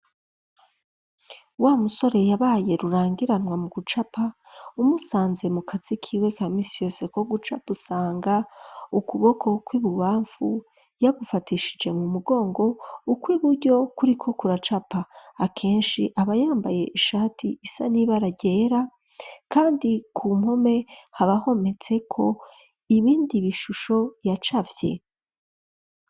Wa musore yabaye rurangiranwa mu gucapa .Namusanze mu kazi kiwe kamisi yose ko guca gusanga ukuboko kw'ibubamfu yagufatishije mu mugongo ukw'iburyo kuri ko kuracapa akenshi aba yambaye ishati isa niba ragera kandi ku mpome habahometse ko ibindi bishusho yacafye.